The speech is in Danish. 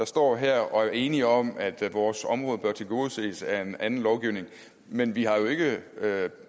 står her og er enige om at vores område bør tilgodeses af en anden lovgivning men vi har ikke